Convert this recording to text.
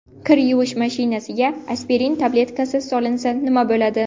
Kir yuvish mashinasiga aspirin tabletkasi solinsa nima bo‘ladi?.